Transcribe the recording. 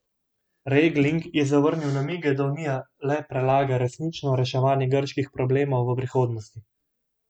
Regling je zavrnil namige, da Unija le prelaga resnično reševanje grških problemov v prihodnost.